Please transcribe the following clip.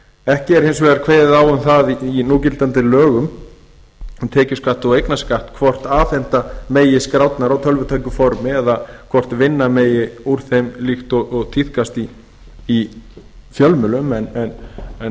ekki er hins vegar kveðið á um það í núgildandi lögum um tekjuskatt og eignarskatt hvort afhenda megi skrárnar á tölvutæku formi eða hvort vinna megi úr þeim líkt og tíðkast í fjölmiðlum en